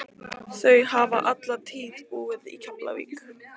Þau hafa alla tíð búið í Keflavík.